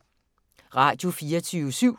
Radio24syv